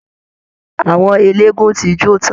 Àwọn eléégún ti jó tán